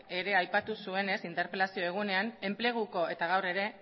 berak ere aipatu zuenez interpelazio egunean eta gaur ere